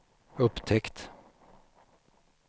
upptäckt